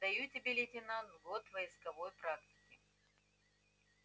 даю тебе лейтенант год войсковой практики